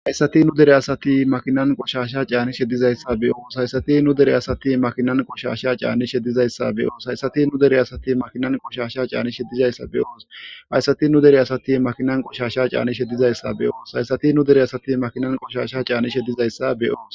hayssati nu dere asati makinan qoshasha caani sheddizayssa beyos hayssati nu dere asati makinan qoshasha caanni shedizayssa beyoos hayssati nu dere asati makinan qoshasha caani sheddizayssa beyoos hayssati nu dere asati makinan qoshasha caani shedizayssa beyoos hayssati nu dere asati makinan qoshasha caani shedizayssa beyoos